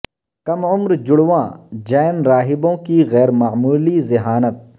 کم عمر جڑواں جین راہبوں کی غیر معمولی ذہانت